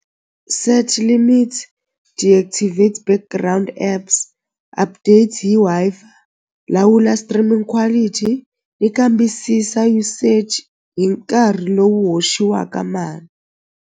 Set limits deactivate background apps update hi Wi-Fi lawula streaming quality ni kambisisa usage hi nkarhi lowu hoxiwaka .